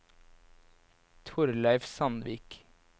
Thorleif Sandvik